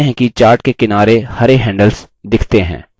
आप देखते हैं कि chart के किनारे हरे handles दिखते हैं